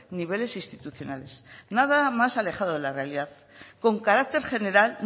niveles institucionales nada más alejado de la realidad con carácter general